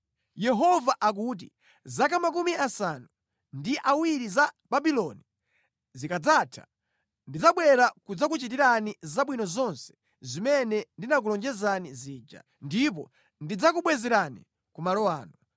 Yehova akuti, “Zaka 70 za ku Babuloni zikadzatha, ndidzabwera kudzakuchitirani zabwino zonse zimene ndinakulonjezani zija, ndipo ndidzakubwezerani ku malo ano.